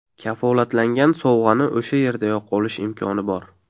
Kafolatlangan sovg‘ani o‘sha yerdayoq olish imkoni bor.